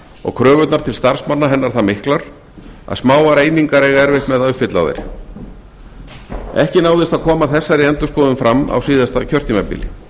og kröfurnar til starfsmanna hennar það miklar að smáar einingar eiga erfitt með að uppfylla þær ekki náðist að koma þessari endurskoðun fram á síðasta kjörtímabili